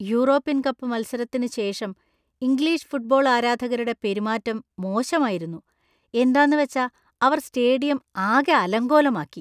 European cup മത്സരത്തിന് ശേഷം English football ആരാധകരുടെ പെരുമാറ്റം മോശമായിരുന്നു, എന്താന്നുവച്ചാ അവർ സ്റ്റേഡിയം ആകെ അലങ്കോലമാക്കി .